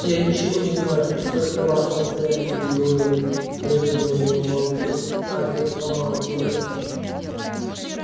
я ничего не знаю сколько раз повторять тебе гойл рыкнул на него малфой а отец помалкивает